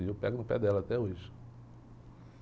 E eu pego no pé dela até hoje.